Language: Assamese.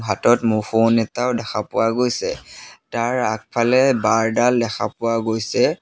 হাতত ম ফোন এটাও দেখা পোৱা গৈছে তাৰ আগফালে বাৰ ডাল দেখা পোৱা গৈছে।